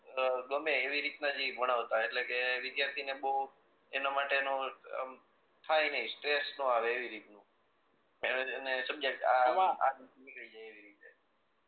અ ગમે એવી રીત ન જ ભણાવતા એટલે કે વિદ્યાર્થી ને ભહું એના માટે નું આમ થાય નહી સ્ટ્રેટ ન આવે એવી રીત નું નીકળી જાય એવી રીતે